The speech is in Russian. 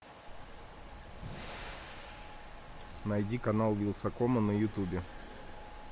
найди канал вилсакома на ютубе